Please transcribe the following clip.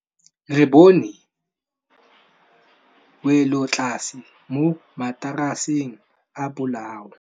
Re bone wêlôtlasê mo mataraseng a bolaô.